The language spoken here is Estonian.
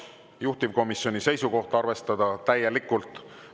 Juhtivkomisjoni seisukoht: arvestada täielikult.